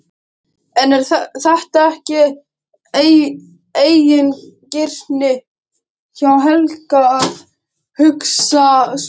En er þetta ekki eigingirni hjá Helga að hugsa svona?